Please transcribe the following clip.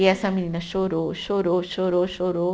E essa menina chorou, chorou, chorou, chorou.